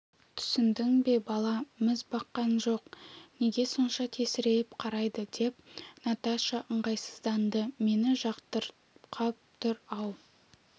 түсіндің бе бала міз баққан жоқ неге сонша тесірейіп қарайды деп наташа ыңғайсызданды мені жатырқап тұр-ау